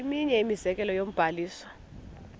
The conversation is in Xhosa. eminye imizekelo yombabazo